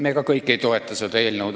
Me ka kõik ei toeta seda eelnõu.